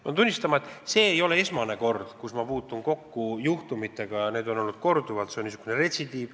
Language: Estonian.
Pean tunnistama, et see ei ole esmane kord, kui ma puutun kokku sellise juhtumiga – neid on korduvalt olnud, see on niisugune retsidiiv.